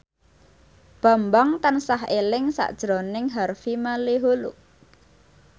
Bambang tansah eling sakjroning Harvey Malaiholo